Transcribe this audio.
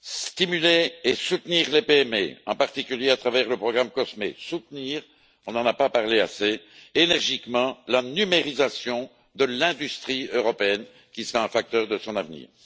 stimuler et soutenir les PME, en particulier à travers le programme COSME, soutenir énergiquement on n'en a pas assez parlé la numérisation de l'industrie européenne, qui sera un facteur de son avenir.